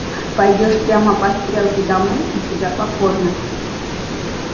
пойдёшь прямо по стрелке домой и тебя покормят